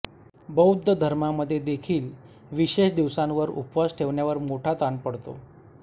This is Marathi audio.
बौद्ध धर्मामध्ये देखील विशेष दिवसांवर उपवास ठेवण्यावर मोठा ताण पडतो